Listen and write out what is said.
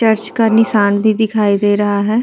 Church का निशान भी दिखाई दे रहा है।